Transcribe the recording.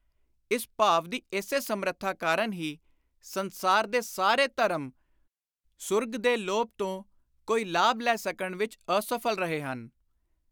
ਇਸ ਭਾਵ ਦੀ ਇਸੇ ਸਮਰੱਥਾ ਕਾਰਨ ਹੀ ਸੰਸਾਰ ਦੇ ਸਾਰੇ ਧਰਮ ਸੂਰਗ ਦੇ ਲੋਭ ਤੋਂ ਕੋਈ ਲਾਭ ਲੈ ਸਕਣ ਵਿਚ ਅਸਫਲ ਰਹੇ ਹਨ।